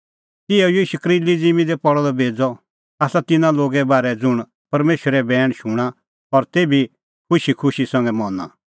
तिहअ ई शकरीली ज़िम्मीं दी पल़अ द बेज़अ आसा तिन्नां लोगे बारै ज़ुंण परमेशरो बैण शूणां और तेभी खुशीखुशी संघै मना